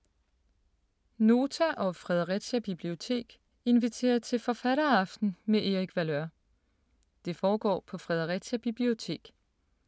Nota og Fredericia Bibliotek inviterer til forfatteraften med Erik Valeur. Det foregår på Fredericia Bibliotek.